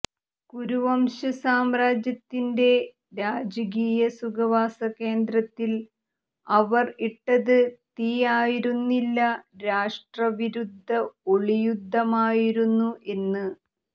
കുരുവംശ സാമ്രാജ്യത്തിന്റെ രാജകീയ സുഖവാസകേന്ദ്രത്തിൽ അവർ ഇട്ടത് തീ ആയിരുന്നില്ല രാഷ്ട്രവിരുദ്ധ ഒളിയുദ്ധമായിരുന്നു എന്ന്